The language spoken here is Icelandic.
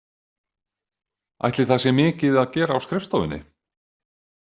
Ætli það sé mikið að gera á skrifstofunni?